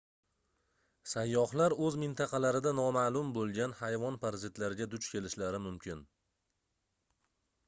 sayyohlar oʻz mintaqalarida nomaʼlum boʻlgan hayvon parazitlariga duch kelishlari mumkin